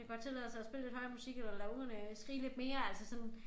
Kan godt tillade sig at spille lidt høj musik eller lade ungerne skrige lidt mere altså sådan